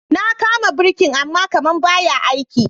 Na kama birkin ama kaman ba ya aiki.